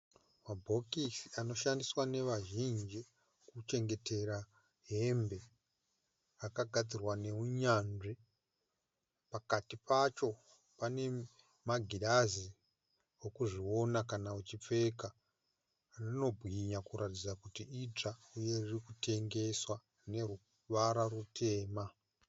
Mabhokisi anoshandiswa nevazhinji kuchengetera hembe. Akagadzirwa nehunyanzvi . Pakati pacho pane magirazi ekuzviona kana uchipfeka. Rinobwinya kuratidza kuti itsva, uye rikutengeswa neruvara rutema.